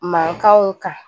Mankanw kan